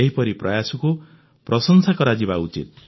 ଏହିପରି ପ୍ରୟାସକୁ ପ୍ରଶଂସା କରାଯିବା ଉଚିତ